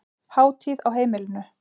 Hátíð á heimilinu